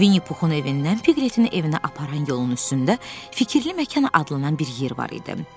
Vinni Puxun evindən Pigletin evinə aparan yolun üstündə fikirli məkan adlanan bir yer var idi.